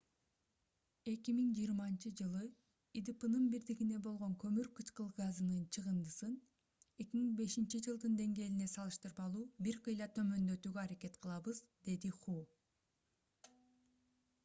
2020-жылы идпнын бирдигине болгон көмүр кычкыл газынын чыгындысын 2005-жылдын деңгээлине салыштырмалуу бир кыйла төмөндөтүүгө аракет кылабыз деди ху